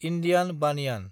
Indian बानयान